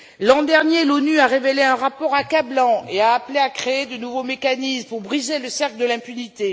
L'an dernier, l'ONU a révélé un rapport accablant et a appelé à créer de nouveaux mécanismes pour briser le cercle de l'impunité.